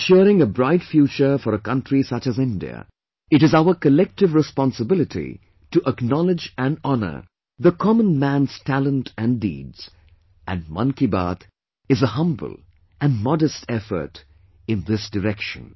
For ensuring a bright future for a country such as India, it isour collective responsibility to acknowledge and honour the common man's talent and deeds and Mann Ki Baat is a humble and modest effort in this direction